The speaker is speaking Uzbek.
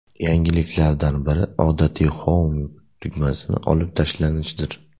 Yangiliklardan biri odatiy Home tugmasining olib tashlanishidir.